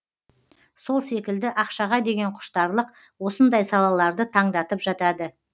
сол секілді ақшаға деген құштарлық осындай салаларды таңдатып жатады